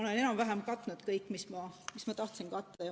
Olen enam-vähem katnud kõik teemad, mida ma tahtsin katta.